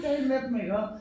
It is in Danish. Tale med dem iggå